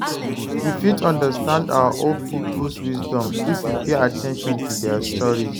You fit understand our old people’s wisdom if you pay at ten tion to their stories.